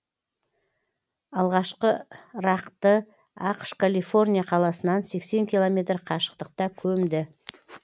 алғашқы рақ ды ақш калифорния қаласынан сексен километр қашықтықта көмді